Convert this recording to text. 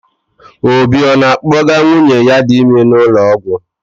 Obi ọ na-akpọga nwunye ya dị ime ụlọọgwụ?